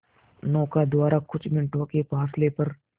नौका द्वारा कुछ मिनटों के फासले पर